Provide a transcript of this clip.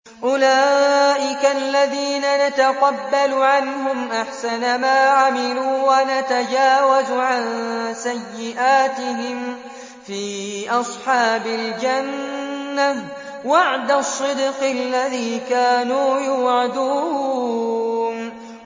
أُولَٰئِكَ الَّذِينَ نَتَقَبَّلُ عَنْهُمْ أَحْسَنَ مَا عَمِلُوا وَنَتَجَاوَزُ عَن سَيِّئَاتِهِمْ فِي أَصْحَابِ الْجَنَّةِ ۖ وَعْدَ الصِّدْقِ الَّذِي كَانُوا يُوعَدُونَ